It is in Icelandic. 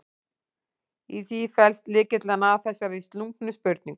Í því felst lykillinn að þessari slungnu spurningu.